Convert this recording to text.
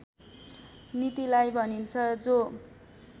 नीतिलाई भनिन्छ जो